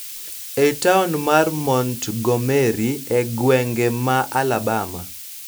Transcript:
E taon mar Montgomery, e gwenge ma Alabama,